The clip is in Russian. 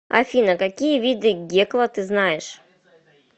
афина какие виды гекла ты знаешь